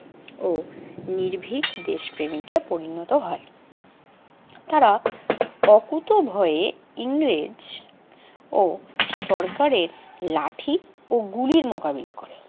ও নির্ভীক দেশপ্রেমিকে পরিণত হয়। তারা অকুতোভয়ে ইংরেজ ও সরকারের লাঠি ও গুলির মোকাবিলা করে।